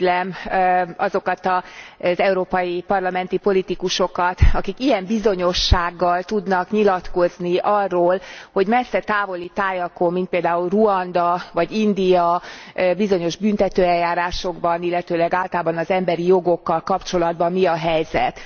Irigylem azokat az európai parlamenti politikusokat, akik ilyen bizonyossággal tudnak nyilatkozni arról, hogy messze távoli tájakon, mint például Ruanda vagy India, bizonyos büntetőeljárásokban, illetőleg általában az emberi jogokkal kapcsolatban mi a helyzet.